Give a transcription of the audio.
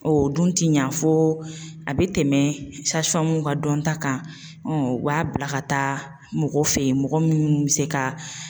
O dun ti ɲa fo a bɛ tɛmɛ ka dɔn ta kan u b'a bila ka taa mɔgɔ fɛ yen mɔgɔ minnu bɛ se ka